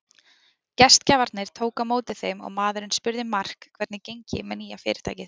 Gestgjafarnir tóku á móti þeim og maðurinn spurði Mark hvernig gengi með nýja fyrirtækið.